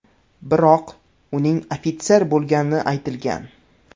Biroq, uning ofitser bo‘lgani aytilgan.